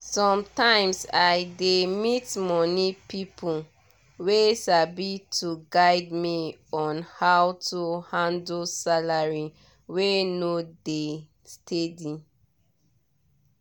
sometimes i dey meet money people wey sabi to guide me on how to handle salary wey no dey steady.